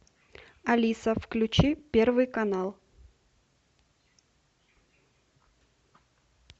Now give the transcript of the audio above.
алиса включи первый канал